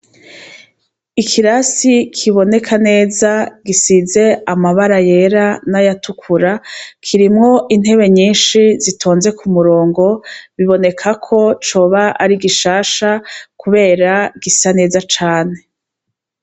Ikirasi kiboneka neza gisize amabara yera n'ayatukura, kirimwo intebe nyinshi zitonze ku murongo, bibonekako coba ari gishasha kubera gisa neza cane.